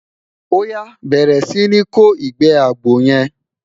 oya, bẹrẹ Si ni kò igbe àgbò yen